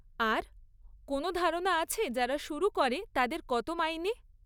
আর, কোন ধারণা আছে যারা শুরু করে তাদের কত মাইনে?